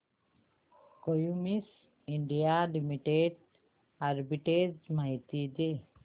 Cummins India Limited arbitrage माहिती दे